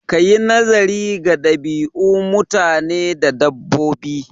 Kayi naziri ga ɗabi'u mutane da dabbobi